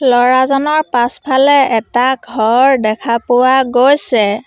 ল'ৰাজনৰ পাছফালে এটা ঘৰ দেখা পোৱা গৈছে।